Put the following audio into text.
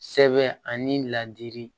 Sɛbɛn ani ladili